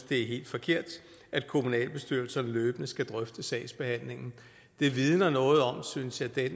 det er helt forkert at kommunalbestyrelserne løbende skal drøfte sagsbehandlingen det vidner noget om synes jeg